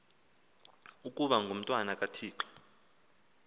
ukaba ngumntwana kathixo